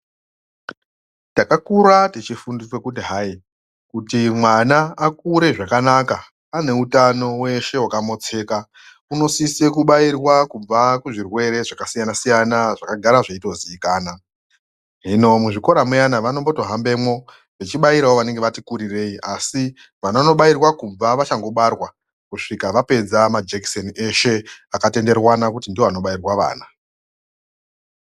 Takakura techifundiswa kuti hai, kuti mwana akure zvakanaka ane utano hweshe hwakamotseka, unosise kubairwa kubva kuzvirwere zvakasiyana-siyana zvakagara zveitozikanwa, hino muzvikora muyana vanotombohambemwo vechibairawo vanenge vati kurirei asi vanondobairwa kumba vachangobarwa kusvika vapedza majekiseni eshe akatenderwana kuti ndiwo anobairwa vana.